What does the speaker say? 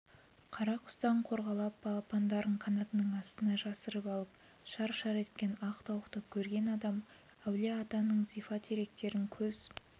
қара құстан қорғалап балапандарын қанатынын астына жасырып алып шар-шар еткен ақ тауықты көрген адам әулие-атаның зифа теректерін көз